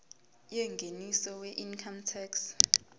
yengeniso weincome tax